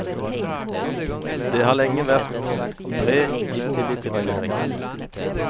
Det har lenge vært bred misstilit til regjeringen.